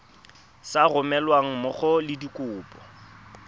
sa romelweng mmogo le dikopo